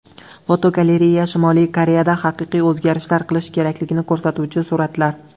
Fotogalereya: Shimoliy Koreyada haqiqiy o‘zgarishlar qilish kerakligini ko‘rsatuvchi suratlar.